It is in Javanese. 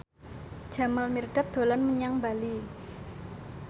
Jamal Mirdad dolan menyang Bali